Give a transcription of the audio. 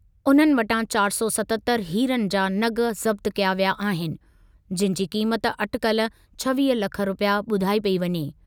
उन्हनि वटां चारि सौ सतहतरि हीरनि जा नगु ज़ब्त कया विया अहिनि, जिनि जी क़ीमत अटिकलु छवीह लख रुपिया ॿुधाई पेई वञे।